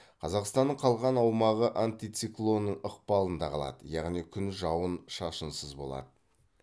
қазақстанның қалған аумағы антициклонның ықпалында қалады яғни күн жауын шашынсыз болады